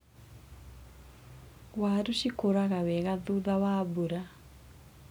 Waru cikũraga wega thutha wa mbura.